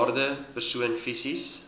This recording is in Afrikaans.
bejaarde persoon fisies